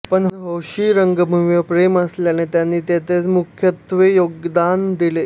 पण हौशी रंगभूमीवर प्रेम असल्याने त्यांनी तेथेच मुख्यत्वे योगदान दिले